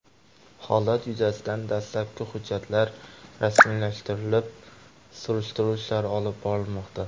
Holat yuzasidan dastlabki hujjatlar rasmiylashtirilib, surishtiruv ishlari olib borilmoqda.